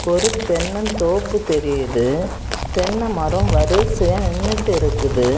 ஒரு தென்னந் தோப்பு தெரியுது தென்ன மரோ வரிசையா நின்னுட்டு இருக்குது.